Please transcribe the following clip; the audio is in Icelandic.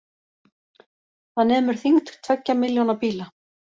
Það nemur þyngd tveggja milljóna bíla